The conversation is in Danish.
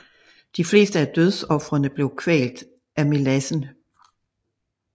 De fleste af dødsofrene blev kvalt af melassen